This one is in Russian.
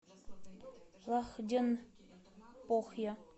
лахденпохья